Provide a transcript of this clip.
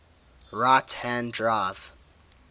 right hand drive